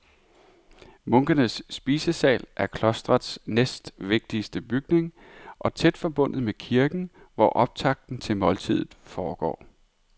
Munkenes spisesal er klostrets næstvigtigste bygning og tæt forbundet med kirken, hvor optakten til måltidet foregår.